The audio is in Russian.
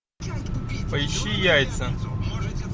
поищи яйца